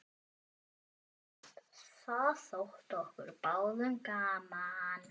Það þótti okkur báðum gaman.